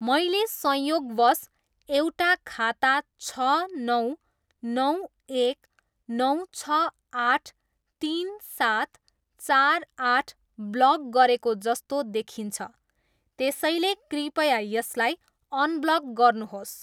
मैले संयोगवश एउटा खाता छ नौ नौ एक नौ छ आठ तिन सात चार आठ ब्लक गरेको जस्तो देखिन्छ त्यसैले कृपया यसलाई अनब्लक गर्नुहोस्।